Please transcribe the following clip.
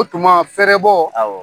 O tuma fɛrɛbɔ; Awɔ!